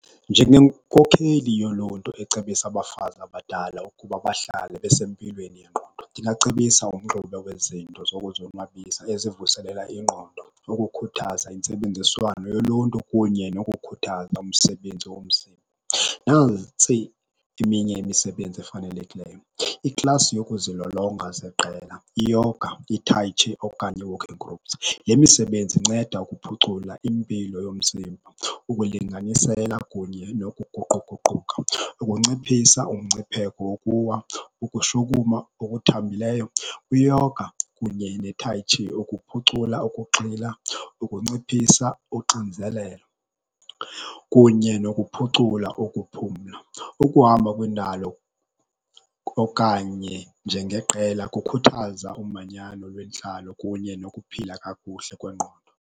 Njengenkokheli yoluntu ecebisa abafazi abadala ukuba bahlale besempilweni yengqondo, ndingacebisa umxube wezinto zokuzonwabisa ezivuselela ingqondo ukukhuthaza intsebenziswano yoluntu kunye nokukhuthaza umsebenzi womzimba. Nantsi eminye imisebenzi efanelekileyo, iklasi yokuzilolonga zeqela, iyoga, ithayitshi okanye ii-walking groups. Le misebenzi inceda ukuphucula impilo yomzimba, ukulinganisela kunye nokuguquguquka, ukunciphisa umngcipheko wokuwa, ukushukuma okuthambileyo. Iyoga kunye netayitshi ukuphucula ukuxila, ukunciphisa unxinzelelo kunye nokuphucula ukuphumla. Ukuhamba kwindalo okanye njengeqela kukhuthaza umanyano lwentlalo kunye nokuphila kakuhle kwengqondo.